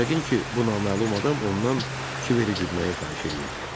Yəqin ki, bu naməlum adam ondan Kiveri güdməyi xahiş eləyirdi.